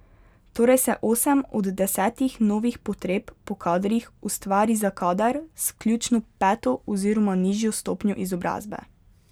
Torej se osem od desetih novih potreb po kadrih ustvari za kader z vključno peto oziroma nižjo stopnjo izobrazbe.